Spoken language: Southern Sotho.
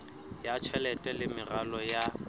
ya tjhelete le meralo ya